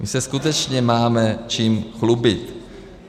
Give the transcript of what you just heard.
My se skutečně máme čím chlubit.